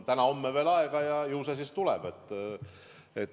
Täna-homme on veel aega, ju see siis tuleb.